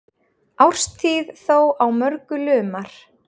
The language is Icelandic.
Árstíð þó á mörgu lumar.